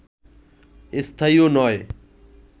স্থায়ীও নয়